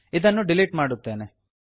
ಇದನ್ನು ಡಿಲೀಟ್ ಮಾಡುತ್ತೇನೆ